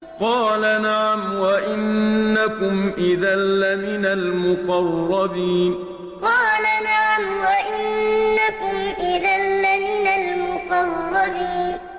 قَالَ نَعَمْ وَإِنَّكُمْ إِذًا لَّمِنَ الْمُقَرَّبِينَ قَالَ نَعَمْ وَإِنَّكُمْ إِذًا لَّمِنَ الْمُقَرَّبِينَ